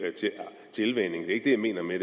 jeg mener med